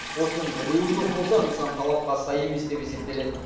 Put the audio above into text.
осының біреуі жоқ болса нысан талапқа сай емес деп есептеледі